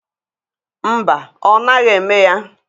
Mba, ọ naghị eme ya.